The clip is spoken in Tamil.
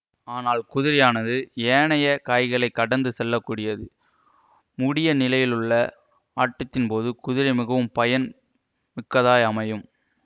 ஆனால் குதிரையானது ஏனைய காய்களைக் கடந்து செல்ல கூடியது முடிய நிலையிலுள்ள ஆட்டத்தின்போது குதிரை மிகவும் பயன் மிக்கதாய் அமையும்